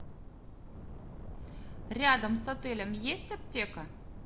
рядом с отелем есть аптека